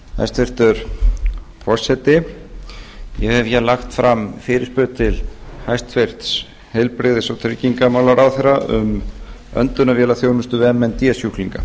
hæstvirtur forseti ég hef lagt fram fyrirspurn til hæstvirtum heilbrigðis og tryggingamálaráðherra um öndunarvélaþjónustu við m n d sjúklinga